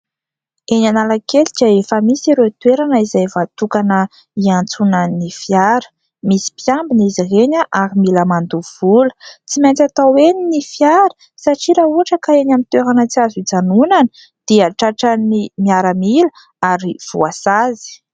Eny Analakely dia efa misy ireo toerana izay voatokana hiantsona ny fiara misy mpiambina izy ireny ary mila mandoha vola tsy maintsy atao eny ny fiara satria raha ohatra ka eny amin'ny toerana tsy azo hijanonana dia tratran'ny miaramila ary voasazy.